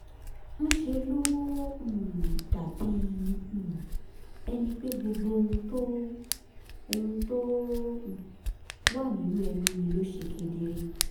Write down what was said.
ńṣe ló um dàbí um ẹni pé gbogbo ohun tó ohun tó um wà nínú ẹnu mi ló ṣe kedere